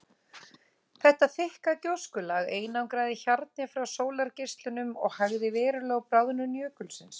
Þetta þykka gjóskulag einangraði hjarnið frá sólargeislunum og hægði verulega á bráðnun jökulsins.